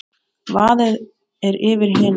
Vaðið er yfir hina.